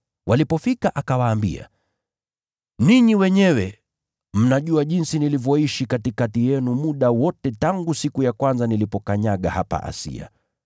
Walipofika akawaambia, “Ninyi wenyewe mnajua jinsi nilivyoishi katikati yenu muda wote tangu siku ya kwanza nilipokanyaga hapa Asia.